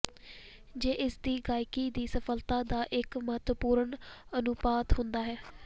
ਜੇ ਇਸ ਦੀ ਗਾਇਕੀ ਦੀ ਸਫਲਤਾ ਦਾ ਇੱਕ ਮਹੱਤਵਪੂਰਨ ਅਨੁਪਾਤ ਹੁੰਦਾ ਹੈ